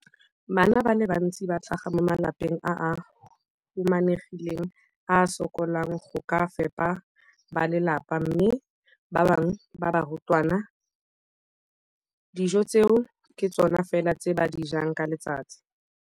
Bana ba le bantsi ba tlhaga mo malapeng a a humanegileng a a sokolang go ka fepa ba lelapa mme ba bangwe ba barutwana, dijo tseo ke tsona fela tse ba di jang ka letsatsi.